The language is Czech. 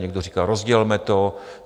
Někdo říká: Rozdělme to.